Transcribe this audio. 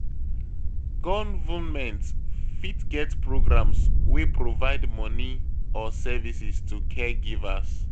Government fit get programs wey provide money or services to caregivers.